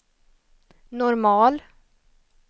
normal